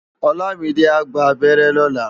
Olamide á gbá ábèrè lòlá